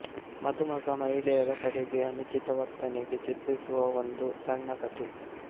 ಮದುಮಗ ಮಹಿಳೆಯರ ಕಡೆಗೆ ಅನುಚಿತ ವರ್ತನೆಗೆ ಚಿತ್ರಿಸುವ ಒಂದು ಸಣ್ಣ ಕಥೆ